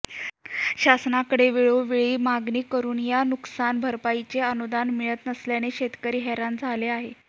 शासनाकडे वेळोवेळी मागणी करून या नुकसान भरपाईचे अनूदान मिळत नसल्याने शेतकरी हैराण झाले आहेत